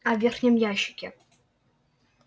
а в верхнем ящике